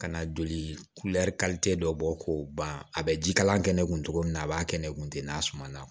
Ka na joli dɔ bɔ k'o ban a bɛ jikalan kɛ ne kun togo min na a b'a kɛ ne kun ten n'a sumana